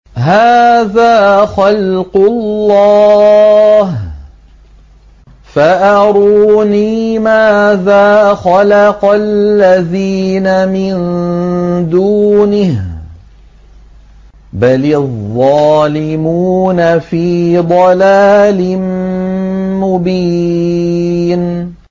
هَٰذَا خَلْقُ اللَّهِ فَأَرُونِي مَاذَا خَلَقَ الَّذِينَ مِن دُونِهِ ۚ بَلِ الظَّالِمُونَ فِي ضَلَالٍ مُّبِينٍ